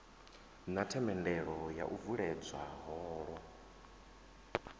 na themendelo yo vuledzwa holo